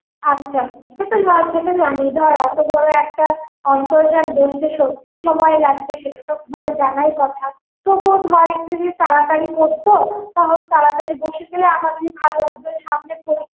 আচ্ছা সেটা এ জানিয়ে দেওয়া এতো বড়ো অন্তর্জাল বসতে সত্যি সময় লাগবে, সেটা তো মানে জানাই কথা তবুও ধর একটু যদি তাড়াতাড়ি করতো তহলে তাড়াতাড়ি বসে গেলে আমাদেরই ভালো হবে সামনে পরীক্ষ~